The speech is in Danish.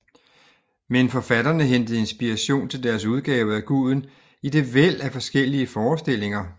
Men forfatterne hentede inspiration til deres udgave af guden i det væld af forskellige forestillinger